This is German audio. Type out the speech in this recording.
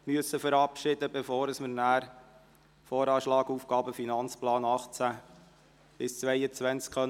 2020–2022 beraten können, werden wir den Geschäftsbericht 2017 verabschieden müssen.